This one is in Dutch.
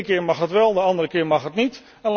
De ene keer mag het wel, de andere keer mag het niet.